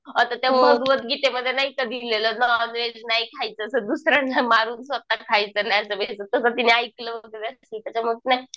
आता त्या भागवतगीतेमध्ये नाही का दिलेलं नॉनव्हेज नाही खायचं असं दुसऱ्यांना मारून स्वतः खायचं नाही तर तिने ऐकलं वैगेरे असेल त्यात त्याच्यामुळे